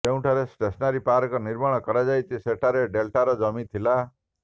ଯେଉଁଠାରେ centenary park ନିର୍ମାଣ କରାଯାଉଛି ସେଠାରେ ଡେଲ୍ଟାର ଜମି ଥିଲା